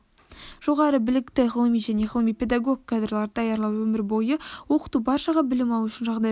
жоғары білікті ғылыми және ғылыми-педагог кадрларды даярлау өмір бойы оқыту баршаға білім алу үшін жағдай жасау